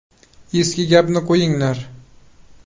Eski gapni qo‘yinglar.